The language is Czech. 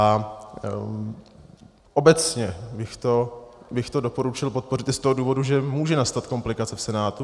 A obecně bych to doporučil podpořit i z toho důvodu, že může nastat komplikace v Senátu.